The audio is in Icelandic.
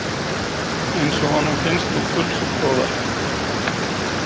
Eins og honum finnst nú pulsur góðar.